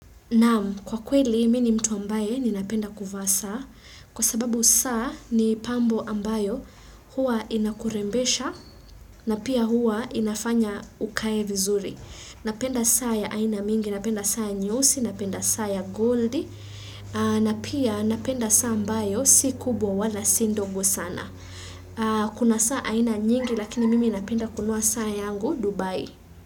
Naamu kwa kweli mini mtu ambaye ni napenda kufa saa kwa sababu saa ni pambo ambayo hua inakurembesha na pia hua inafanya ukae vizuri. Napenda saa ya aina mingi, napenda saa ya nyusi, napenda saa ya goldi na pia napenda saa ambayo si kubwa wala sindogo sana. Kuna saa aina nyingi lakini mimi napenda kunua saa yangu Dubai.